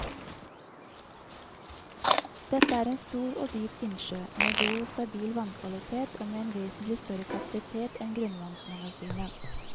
Dette er en stor og dyp innsjø med god og stabil vannkvalitet og med en vesentlig større kapasitet enn grunnvannsmagasinet.